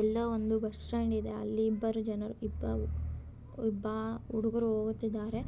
ಇಲ್ಲೋ ಒಂದು ಬಸ್ಟ್ಯಾಂಡ್ ಆಗಿದೆ ಇಬ್ಬರೂ ಜನರು ಹುಡುಗರು ಹೋಗುತ್ತಿದ್ದಾರೆ.